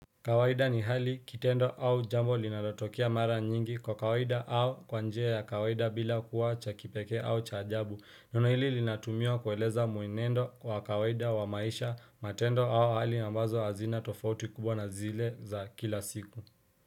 Kawaida ni hali kitendo au jambo linalotokea mara nyingi kwa kawaida au kwa njia ya kawaida bila kuwa cha kipekee au cha ajabu neno hili linatumiwa kueleza muenendo kwa kawaida wa maisha matendo au hali ambazo hazina tofauti kubwa na zile za kila siku.